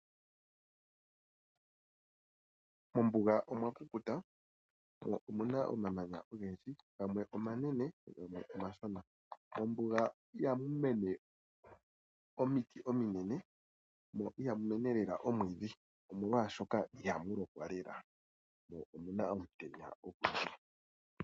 Mombuga okwa kukuta mo omuna omamanya ogendji, gamwe omashona gamwe omanene. Mombuga ihamu mene omiti ominene mo ihamu mene lela omwiidhi, omolwa shoka ihamu lokwa lela mo omuna omutenya ogundji.